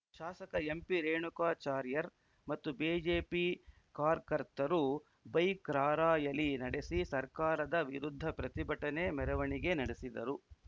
ಶಾಸಕ ಎಂಪಿರೇಣುಕಾಚಾರ್ಯರ್ ಮತ್ತು ಬೆಜೆಪಿ ಕಾರ್ಕರ್ತರು ಬೈಕ್‌ ರಾರ‍ಯಲಿ ನಡೆಸಿ ಸರ್ಕಾರದ ವಿರುದ್ಧ ಪ್ರತಿಭಟನೆ ಮೆರವಣಿಗೆ ನಡೆಸಿದರು